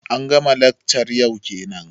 an ga ma laccar yau kenan?